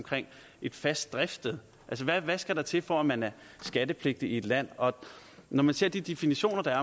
et fast driftssted hvad skal der til for at man er skattepligtig i et land når man ser de definitioner der er